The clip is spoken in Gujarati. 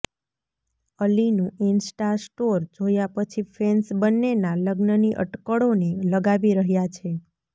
અલીનું ઇન્સ્ટા સ્ટોર જોયા પછી ફેન્સ બંનેના લગ્નની અટકળોને લગાવી રહ્યા છે